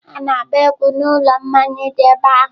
Ha na-agba egwu n'ụlọ mmanya dị n'ebe ahụ.